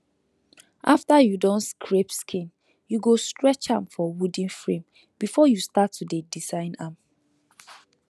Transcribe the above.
after you don scrape skin you go stretch am for wooden frame before you start to dey design am